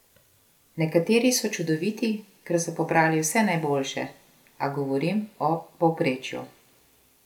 Nekateri so čudoviti, ker so pobrali vse najboljše, a govorim o povprečju.